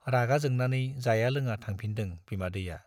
रागा जोंनानै जाया लोङा थांफिनदों बिमादैया।